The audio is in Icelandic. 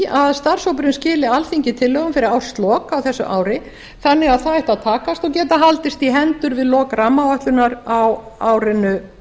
að starfshópurinn skili alþingi tillögum fyrir árslok á þessu ári þannig að það ætti að takast og geta haldist í hendur við lok rammaáætlunar á árinu